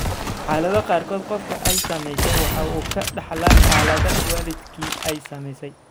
Xaaladaha qaarkood, qofka ay saamaysay waxa uu ka dhaxlaa xaaladda waalidkii ay saamaysay.